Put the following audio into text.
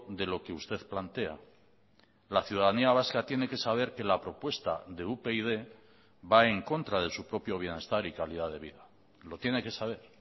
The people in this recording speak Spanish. de lo que usted plantea la ciudadanía vasca tiene que saber que la propuesta de upyd va en contra de su propio bienestar y calidad de vida lo tiene que saber